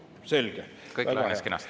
Selge!